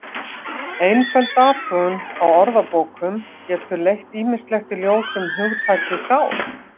Einföld athugun á orðabókum getur leitt ýmislegt í ljós um hugtakið sál.